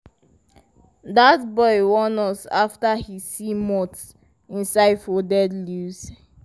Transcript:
dat boy warn us after he see moths inside folded leaves.